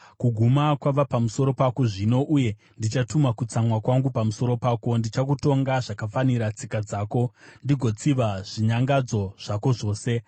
Kuguma kwava pamusoro pako zvino uye ndichatuma kutsamwa kwangu pamusoro pako. Ndichakutonga zvakafanira tsika dzako ndigotsiva zvinyangadzo zvako zvose.